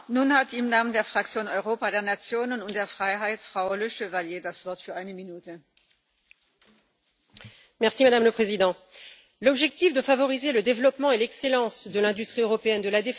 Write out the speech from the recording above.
Madame la Présidente, l'objectif de favoriser le développement et l'excellence de l'industrie européenne de la défense est positif, tout comme celui de favoriser l'achat par les États membres de matériel issu des pays de l'Union européenne plutôt que de pays tiers.